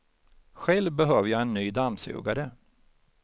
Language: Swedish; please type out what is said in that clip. Själv behöver jag en ny dammsugare.